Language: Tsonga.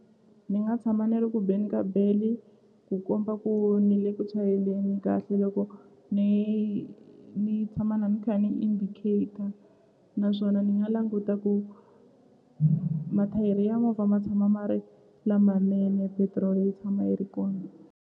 Ni nga tshama ni ri ku beni ka bell-i ku komba ku ni le ku chayeleni kahle loko ni ni tshama na ni kha ni indicator naswona ni nga languta ku mathayere ya movha ma tshama ma ri lamanene petiroli yi tshama yi ri kona.